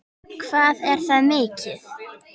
Hvað er það mikið?